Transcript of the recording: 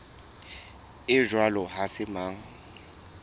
ya jwalo ha se mang